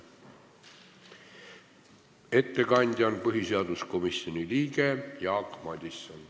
Ettekandja on põhiseaduskomisjoni liige Jaak Madison.